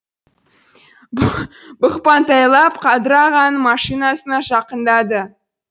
бұқпантайлап қадыр ағаның машинасына жақындады